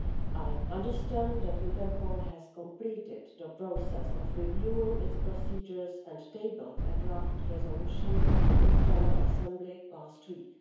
I understand that Interpol has completed the process of reviewing its procedures and tabled a draft resolution to its general assembly last week.